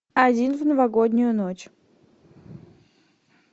один в новогоднюю ночь